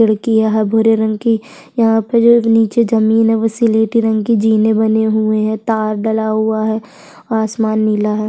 खिड़कीया हैं भूरे रंग की यहाँ पे जो नीचे जमीन है स्लेटी रंग की जीने बनी हुई है तार डला हुआ है आसमान नीला रंग का है।